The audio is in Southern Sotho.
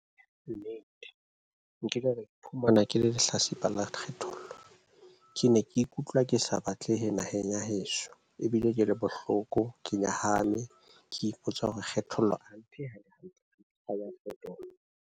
Ka nnete nkile ka iphumana ke le lehlatsipa la kgethollo. Ke ne ke ikutlwa ke sa batlehe naheng ya heso ebile ke le bohloko ke nyahame. Ke ipotsa hore kgethollo .